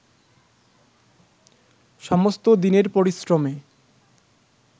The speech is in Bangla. সমস্ত দিনের পরিশ্রমে